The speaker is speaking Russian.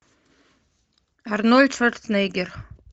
арнольд шварценеггер